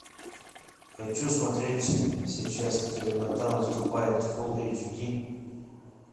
хочу смотреть сейчас темнота наступает фул эйч ди